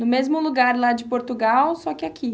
No mesmo lugar lá de Portugal, só que aqui.